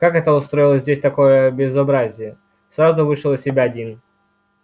как это устроил здесь такое безобразие сразу вышел из себя дин